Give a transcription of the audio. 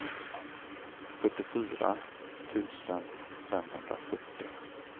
fyrtiofyra tusen femhundrafyrtio